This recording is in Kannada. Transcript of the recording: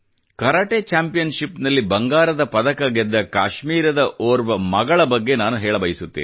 ಕರಾಟೆ ಚ್ಯಾಂಪಿಯನ್ ಶಿಪ್ ನಲ್ಲಿ ಬಂಗಾರದ ಪದಕ ಗೆದ್ದ ಕಾಶ್ಮೀರದ ಓರ್ವ ಮಗಳ ಬಗ್ಗೆ ನಾನು ಹೇಳಬಯಸುತ್ತೇನೆ